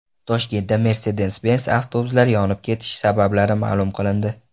Toshkentda Mercedes-Benz avtobuslari yonib ketishi sabablari ma’lum qilindi.